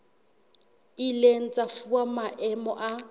ileng tsa fuwa maemo a